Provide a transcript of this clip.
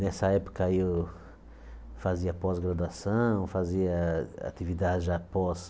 Nessa época aí, eu fazia pós-graduação, fazia atividade já pós.